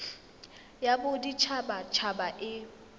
ya bodit habat haba e